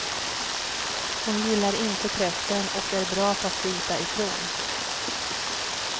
Hon gillar inte pressen och är bra på att bita ifrån.